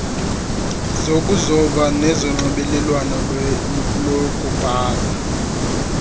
zokuzoba nezonxibelelwano lokubhala